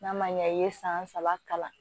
N'a ma ɲɛ i ye san saba kalan